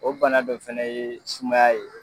O bana dɔ fɛnɛ ye sumaya ye